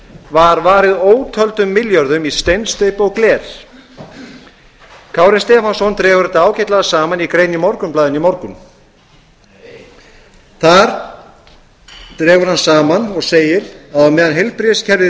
var varið ótöldum milljörðum í steinsteypu og gler kári stefánsson dregur þetta ágætlega saman í grein í morgunblaðinu í morgun þar dregur hann saman og segir að á meðan heilbrigðiskerfið